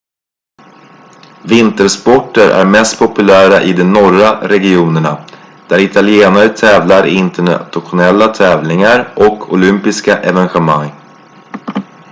vintersporter är mest populära i de norra regionerna där italienare tävlar i internationella tävlingar och olympiska evenemang